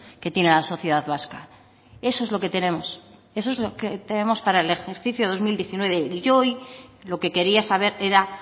que tiene la sociedad vasca eso es lo que tenemos eso es lo que tenemos para el ejercicio dos mil diecinueve y yo hoy lo que quería saber era